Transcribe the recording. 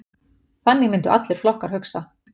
Þannig myndu allir flokkar hugsa.